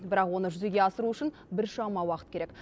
бірақ оны жүзеге асыру үшін біршама уақыт керек